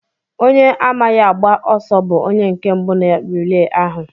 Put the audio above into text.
Onye amaghị agba ọsọ bú onye nke mbụ na rilee ahụ.